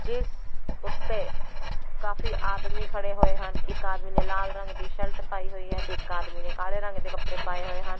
ਜਿਸ ਉੱਤੇ ਕਾਫੀ ਆਦਮੀ ਖੜ੍ਹੇ ਹੋਏ ਹਨ ਇੱਕ ਆਦਮੀ ਨੇ ਲਾਲ ਰੰਗ ਦੀ ਸ਼ਰਟ ਪਾਈ ਹੋਈ ਹੈ ਤੇ ਇੱਕ ਆਦਮੀ ਨੇ ਕਾਲੇ ਰੰਗ ਦੇ ਕਪੜੇ ਪਾਏ ਹੋਏ ਹਨ।